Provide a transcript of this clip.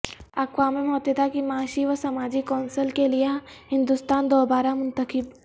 اقوام متحدہ کی معاشی و سماجی کونسل کے لئے ہندوستان دوبارہ منتخب